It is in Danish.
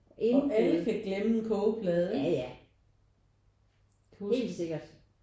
Indbrud ja ja helt sikkert